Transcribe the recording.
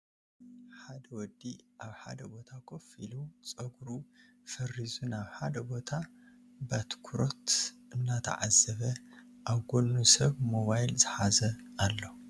ሓድ ውዲ ኣብ ሓደ ቦታ ኮፍ ኢሉ ፀጉሩ ፈሪዙ ናብ ሓደ ቦታ ባትኩሮት እናተዓዘበ ኣብ ጎኑ ሰብ ሞባይል ዝሓዘ ኣሎ ።